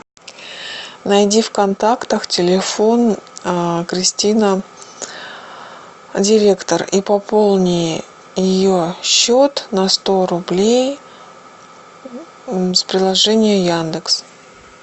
найди в контактах телефон кристина директор и пополни ее счет на сто рублей с приложения яндекс